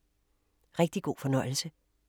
Rigtig god fornøjelse!